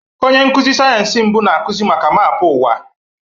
Onye nkuzi sayensị mbụ na-akụzi maka maapụ ụwa.